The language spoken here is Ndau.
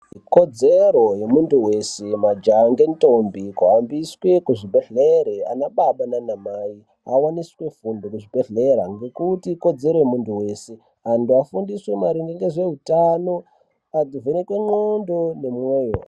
Ikodzero yemuntu weshe majaya nendombi kuambiswe kuzvibhehlere ana baba nana mai avaniswe fundo kuzviingekuti ikodzero yemuntu wese antu afundiswe maringe nezveutano avhenekwe ndxondo nemwoyo.